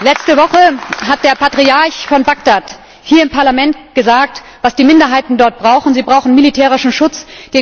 Letzte Woche hat der Patriarch von Bagdad hier im Parlament gesagt, was die Minderheiten dort brauchen Sie brauchen militärischen Schutz.